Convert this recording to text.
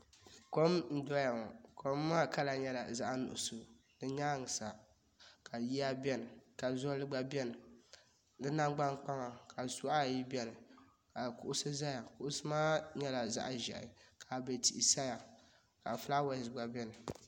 Kom n doya ŋɔ kom maa kala nyɛla zaɣi nuɣiso di yɛanga sa ka yiya bɛni ka zoli gba bɛni si namgbani kpaŋa ka suɣa ayi bɛni ka kuɣusi zaya kuɣusi maa nyɛla zaɣi zɛhi ka abɛi tia sayaka flawɛsi gba bɛni.